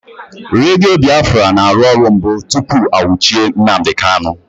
Redio Biafra na-arụ ọrụ mbụ tụpụ a nwuchie Nnamdi Kanu